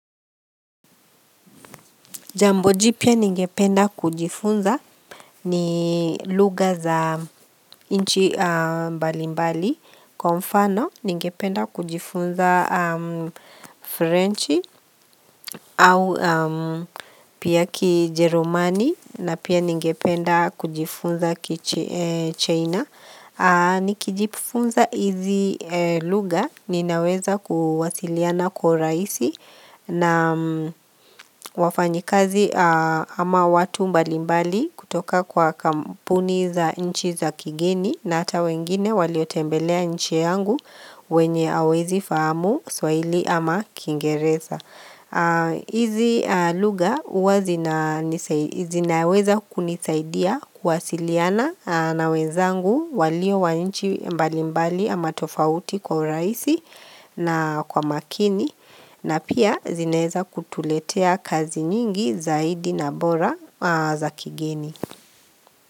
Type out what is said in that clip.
Jambo jipya ningependa kujifunza ni lugha za nchi mbalimbali, kwa mfano ningependa kujifunza French au pia kijeromani na pia ningependa kujifunza kichina. Ni kijifunza hizi lugha ninaweza kuwasiliana kwa urahisi na wafanyikazi ama watu mbalimbali kutoka kwa kampuni za nchi za kigeni na hata wengine waliotembelea nchi yangu wenye hawawezi fahamu swaili ama kingereza. Hizi lugha huwa zinaweza kunisaidia kuwasiliana na wenzangu walio wa nchi mbali mbali ama tofauti kwa urahisi na kwa makini na pia zinaweza kutuletea kazi nyingi zaidi na bora za kigeni.